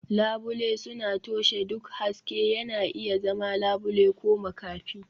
Labule suna toshe duk haske, yana iya zama labule ko makafi.